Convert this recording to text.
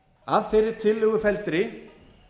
að þeirri tillögu felldri